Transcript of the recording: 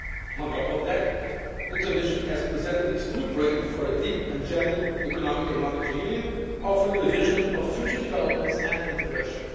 On top of that, the Commission has presented its Blueprint for a deep and genuine Economic and Monetary Union, offering a vision of future developments and integration.